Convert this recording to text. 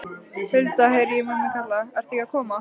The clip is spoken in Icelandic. Hulda, heyri ég mömmu kalla, ertu ekki að koma?